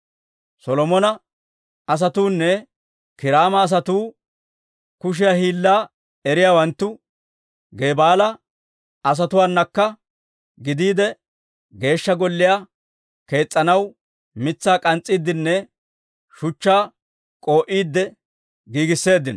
Solomona asatuunne Kiiraama asatuu kushiyaa hiillaa eriyaawanttu, Geebaala asatuwaanakka gidiide, Geeshsha Golliyaa kees's'anaw mitsaa k'ans's'iiddenne shuchchaa k'oo"iide giigisseeddino.